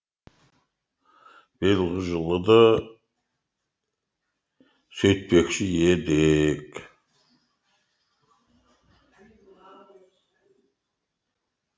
биылғы жылы да сөйтпекші едік